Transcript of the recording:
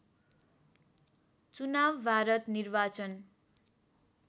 चुनाव भारत निर्वाचन